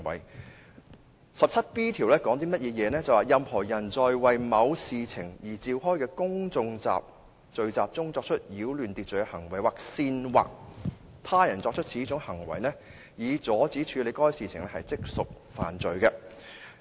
第 17B 條訂明"任何人在為某事情而召開的公眾聚集中作出擾亂秩序行為，或煽惑他人作出此種行為，以阻止處理該事情，即屬犯罪"。